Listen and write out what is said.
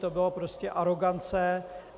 To byla prostě arogance.